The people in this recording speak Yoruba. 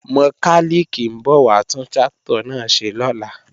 Mọkálìkì ń bọ̀ wá tún tráktọ̀ náà ṣe lọ́la